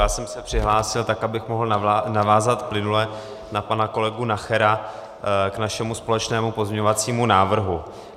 Já jsem se přihlásil tak, abych mohl navázat plynule na pana kolegu Nachera k našemu společnému pozměňovacímu návrhu.